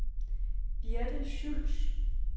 Birthe Schultz